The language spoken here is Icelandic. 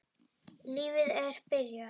Lífið er byrjað.